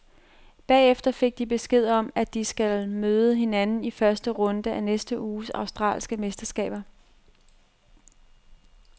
Bagefter fik de besked om, at de skal møde hinanden i første runde af næste uges australske mesterskaber.